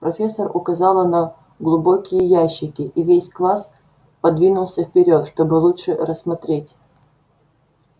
профессор указала на глубокие ящики и весь класс подвинулся вперёд чтобы лучше рассмотреть